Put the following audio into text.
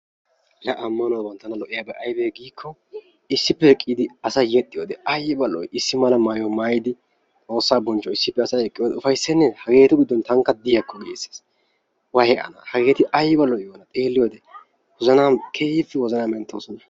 La ammanuwaaban tana lo'iyaabay aybee giikko, issippe eqqidi asay yexxiyoode aybba lo'ii? issi mala mayuwaa maayidi xoossaa bonchuwaawu issippe asay eqqiyoode ufayseenne! hageetu giddon tankka diyaako giisees. waayi ana hageeti aybba lo'iyoonaa xeliyoode. wozanaama keehippe wozanaa menttoosona.